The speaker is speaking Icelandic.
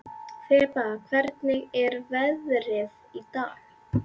Þeba, hvernig er veðrið í dag?